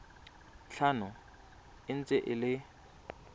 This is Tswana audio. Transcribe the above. tlhano e ntse e le